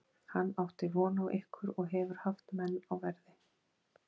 Hann átti von á ykkur og hefur haft menn á verði.